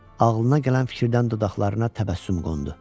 Amma ağılına gələn fikirdən dodaqlarına təbəssüm qondu.